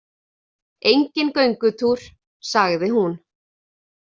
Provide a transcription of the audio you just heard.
Enginn göngutúr, sagði hún.